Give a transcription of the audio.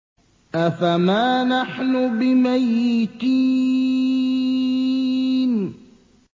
أَفَمَا نَحْنُ بِمَيِّتِينَ